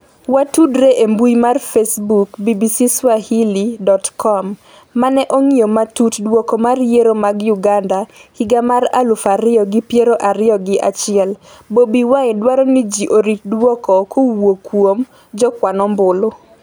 watudre e mbui mar facebook bbcswahili.com mane ong'iyo matut duoko mar Yiero mag Uganda higa mar aluf ariyo gi piero ariyo gi achiel: Bobi Wine dwaro ni ji orit duoko kowuok kuom jokwan ombulu